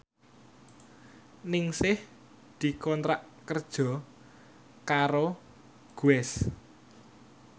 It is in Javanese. Ningsih dikontrak kerja karo Guess